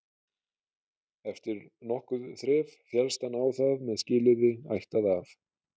Eftir nokkurt þref féllst hann á það með skilyrði ættað af